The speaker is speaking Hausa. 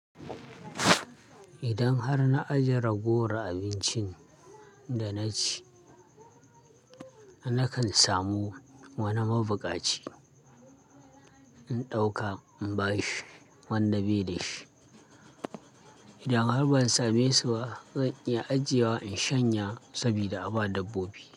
Idan har na ajiye ragowar abincin da na ci, nakan samu wani mabuƙaci in ɗauka in ba shi wanda bai da shi. Idan har ban same su ba zan iya ajiye wa in shanya sabida aba dabbobi.